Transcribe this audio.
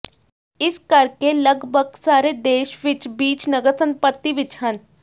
ਇਸ ਕਰਕੇ ਲਗਭਗ ਸਾਰੇ ਇਸ ਦੇਸ਼ ਵਿਚ ਬੀਚ ਨਗਰ ਸੰਪਤੀ ਵਿੱਚ ਹਨ